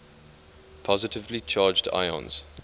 positively charged ions